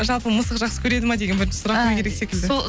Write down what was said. жалпы мысық жақсы көреді ма деген бірінші сұрақ керек секілді сол